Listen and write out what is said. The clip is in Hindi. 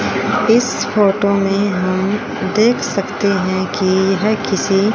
इस फोटो में हम देख सकते है कि यह किसी--